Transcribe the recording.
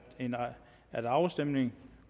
at afstemning